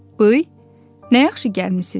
Bıy, nə yaxşı gəlmisiz?